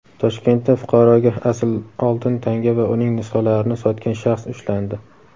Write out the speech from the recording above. Toshkentda fuqaroga asl oltin tanga va uning nusxalarini sotgan shaxs ushlandi.